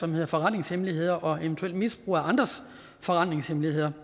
med forretningshemmeligheder og eventuelt misbrug af andres forretningshemmeligheder